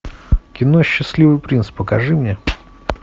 ы